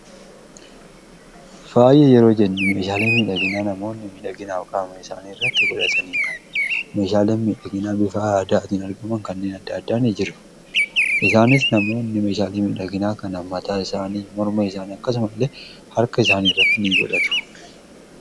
faa'e yeroo jennu meeshaale midhaginaa namoonni miidhaginaa kaama isaanii irratti godhasaniia meeshaale miidhaginaa bifaa aaddaa atiin argaman kanneen adda addaanii jiru isaanis namoonni meeshaalii miidhaginaa kanmataa isaanii morma isaanii akkasuma illee harka isaanii irratti in godhatu